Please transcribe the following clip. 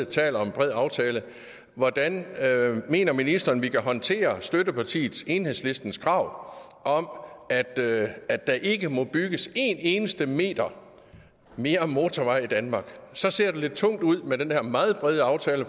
taler om en bred aftale hvordan mener ministeren vi kan håndtere støttepartiet enhedslistens krav om at at der ikke må bygges én eneste meter mere motorvej i danmark så ser det lidt tungt ud med den her meget brede aftale